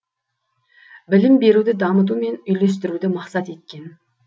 білім беруді дамыту мен үйлестіруді мақсат еткен